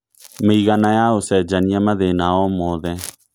mĩigana ya ũcenjanĩa mathĩna o mothe